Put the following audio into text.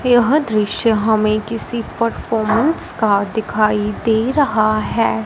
यह दृश्य हमें किसी परफॉर्मेंस का दिखाई दे रहा है।